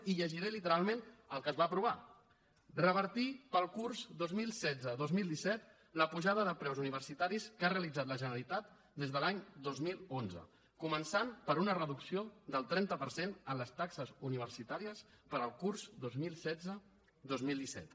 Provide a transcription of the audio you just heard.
i llegiré literalment el que es va aprovar revertir per al curs dos mil setze dos mil disset la pujada de preus universitaris que ha realitzat la generalitat des de l’any dos mil onze començant per una reducció del trenta per cent en les taxes universitàries per al curs dos mil setze dos mil disset